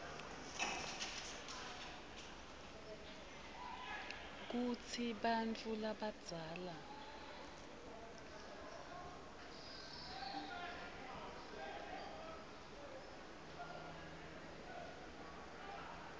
kutsi bantfu labadzala